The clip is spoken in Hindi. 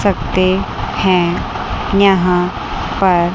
सकते है यहां पर--